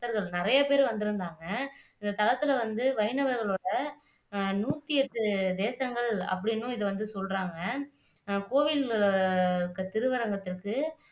நிறையபேர் வந்துருந்தாங்க இந்த தலத்துல வந்து வைணவர்களோட அஹ் நூற்றி எட்டு தேசங்கள் அப்படின்னும் இதை வந்து சொல்றாங்க அஹ் கோவில் திருவரங்கத்துக்கு